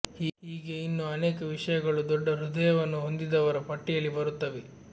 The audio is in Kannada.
ಹೀಗೆ ಇನ್ನೂ ಅನೇಕ ವಿಷಯಗಳು ದೊಡ್ಡ ಹೃದಯವನ್ನು ಹೊಂದಿದವರ ಪಟ್ಟಿಯಲ್ಲಿ ಬರುತ್ತವೆ